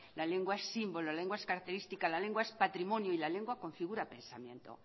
la lengua es símbolo la lengua es característica la lengua es patrimonio y la lengua configura pensamiento